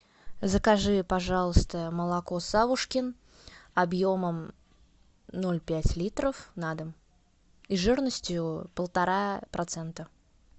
закажи пожалуйста молоко савушкин объемом ноль пять литров на дом и жирностью полтора процента